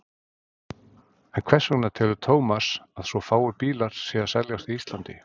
En hvers vegna telur Thomas að svo fáir bílar séu að seljast á Íslandi?